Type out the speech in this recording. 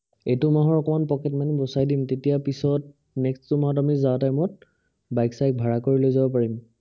এইটো মাহৰ অকমান pocket money বচাই দিম তেতিয়া পিছত, next টো মাহত আমি যোৱা time ত বাইক চায়েক ভাৰা কৰি লৈ যাব পাৰিম